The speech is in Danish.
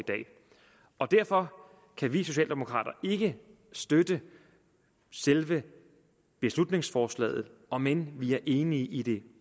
derfor kan vi socialdemokrater ikke støtte selve beslutningsforslaget om end vi er enige i det